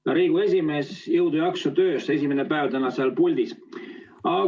Hea Riigikogu esimees, jõudu-jaksu töös, esimene päev on teil täna seal puldis!